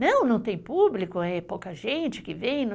Não, não tem público, é pouca gente que vem.